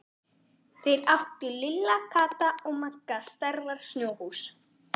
Þar áttu Lilla, Kata og Magga stærðar snjóhús.